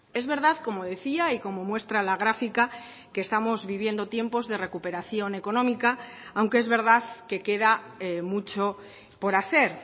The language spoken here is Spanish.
es verdad como decía y como muestra la gráfica que estamos viviendo tiempos de recuperación económica aunque es verdad que queda mucho por hacer